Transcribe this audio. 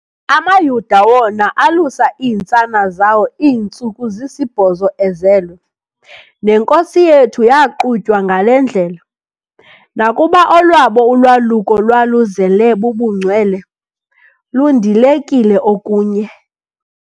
AmaYuda wona alusa iintsana zawo iintsuku zisibhozo ezelwe, nenkosi yethu yaaqutywa ngale ndlela, nakuba olwabo ulwaluko lwaluzele bubungcwele, lundilekile okunye.